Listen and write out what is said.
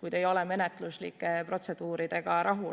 kui te ei ole menetluslike protseduuridega rahul.